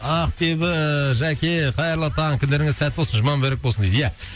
ақбибі жәке қайырлы таң күндерің сәтті болсын жұма мүбәрәк болсын дейді иә